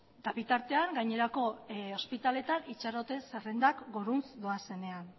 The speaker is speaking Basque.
eta bitartean gainerako ospitaleetan itxaroten zerrendak gorantz doaz